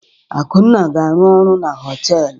Akunna ga-arụ ọrụ na họtelụ.